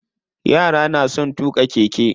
Yara na son tuƙa keke.